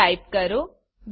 type કરો point